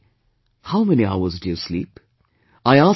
He asked me, "How many hours do you sleep